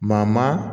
Maa maa